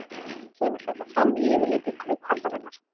Kemur þetta fram í yfirliti Kauphallarinnar